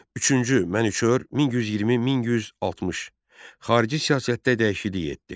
Üçüncü Mənüçöhr 1120 1160 xarici siyasətdə dəyişiklik etdi.